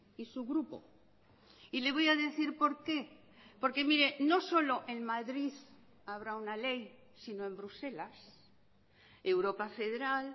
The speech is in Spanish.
y su grupo y le voy a decir por qué porque mire no solo en madrid habrá una ley sino en bruselas europa federal